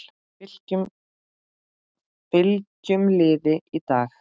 Fylkjum liði í dag